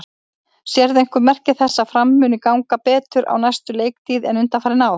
Sérðu einhver merki þess að Fram muni ganga betur á næstu leiktíð en undanfarin ár?